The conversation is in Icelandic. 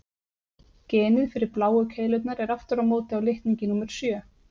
Genið fyrir bláu keilurnar er aftur á móti á litningi númer sjö.